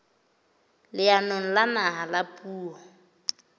leanong la naha la puo